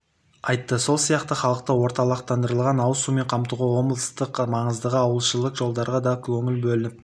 айтты сол сияқты халықты орталықтандырылған ауыз сумен қамтуға облыстық маңыздағы ауылішілік жолдарға дада көңіл бөлініп